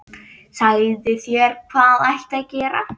Sagði þér hvað ætti að gera.